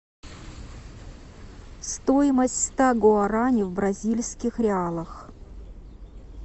стоимость ста гуарани в бразильских реалах